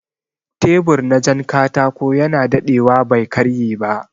Tebur na jan katako yana daɗewa bai karye ba